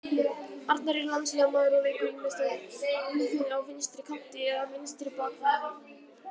Arnar er landsliðsmaður og leikur ýmist á miðjunni á vinstri kanti eða vinstri bakverði.